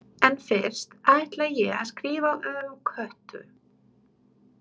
En fyrst ætla ég að skrifa um Kötu.